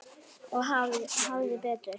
Og hafði betur.